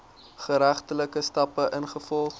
geregtelike stappe ingevolge